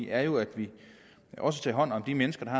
er jo at vi også tager hånd om de mennesker